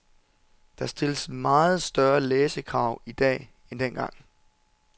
Der stilles meget større læsekrav i dag end dengang.